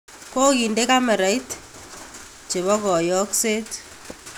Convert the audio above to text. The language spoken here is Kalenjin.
Koginde kamerait chepo koyokseet